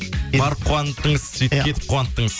барып қуанттыңыз сөйтіп кетіп қуанттыңыз